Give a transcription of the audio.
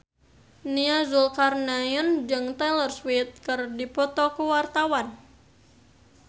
Nia Zulkarnaen jeung Taylor Swift keur dipoto ku wartawan